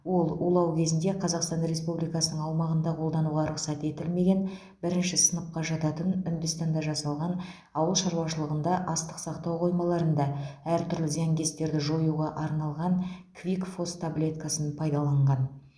ол улау кезінде қазақстан республикасының аумағында қолдануға рұқсат етілмеген бірінші сыныпқа жататын үндістанда жасалған ауылшаруашылығында астық сақтау қоймаларында әртүрлі зиянкестерді жоюға арналған квикфос таблеткасын пайдаланған